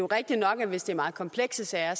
rigtigt nok at hvis det er meget komplekse sager